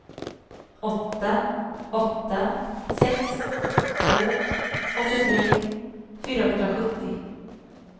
åtta åtta sex två åttiotre fyrahundrasjuttio